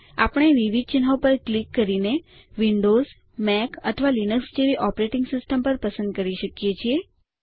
આપણે વિવિધ ચિહ્નો પર ક્લિક કરીને વિન્ડોઝ મેક અથવા લીનક્સ જેવી ઓપરેટિંગ સિસ્ટમ પણ પસંદ કરી શકીએ છીએ